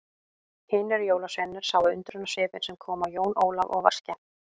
Hinir jólasveinarnir sáu undrunarsvipinn sem kom á Jón Ólaf og var skemmt.